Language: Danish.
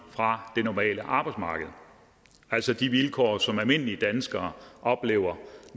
fra det normale arbejdsmarked altså de vilkår som almindelige danskere oplever